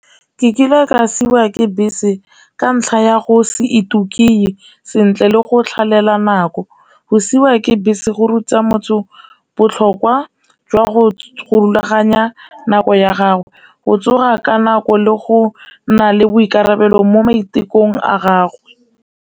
Ke kile ka siwa ke bese ka ntlha ya go se itukise sentle le go tlhabela nako, go siwa ke bese go ruta motsho botlhokwa jwa go rulaganya nako ya gagwe go tsoga ka nako le go nna le boikarabelo mo maitekong a gago.